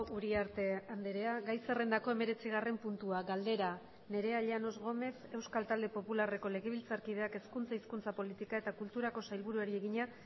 uriarte andrea gai zerrendako hemeretzigarren puntua galdera nerea llanos gómez euskal talde popularreko legebiltzarkideak hezkuntza hizkuntza politika eta kulturako sailburuari egina